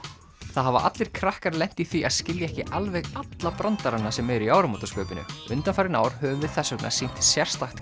það hafa allir krakkar lent í því að skilja ekki alveg alla brandarana sem eru í áramótaskaupinu undanfarin ár höfum við þess vegna sýnt sérstakt